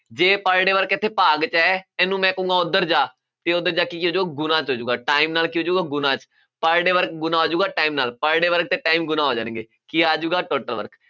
ਜੇ per day work ਇੱਥੇ ਭਾਗ ਚ ਹੈ, ਇਹਨੂੰ ਮੈਂ ਕਹੂੰਗਾ ਉੱਧਰ ਜਾ, ਇਹ ਉੱਧਰ ਜਾ ਕੇ ਕੀ ਹੋ ਜਾਊਗਾ, ਗੁਣਾ ਚ ਹੋ ਜਾਊਗਾ, time ਨਾਲ ਕੀ ਹੋ ਜਾਊਗਾ, ਗੁਣਾ ਚ, per day work ਗੁਣਾ ਹੋ ਜਾਊਗਾ, time ਨਾਲ, per day work ਅਤੇ time ਗੁਣਾ ਹੋ ਜਾਣਗੇ, ਕੀ ਆ ਜਾਊਗਾ, total work